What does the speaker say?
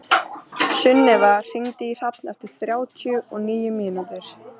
Sunneva, hringdu í Hrafn eftir þrjátíu og níu mínútur.